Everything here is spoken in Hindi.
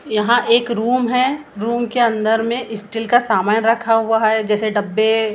यहाँ एक रूम है रूम अंदर मे स्टील का सामान रखा हुआ हे जैसे डब्बे।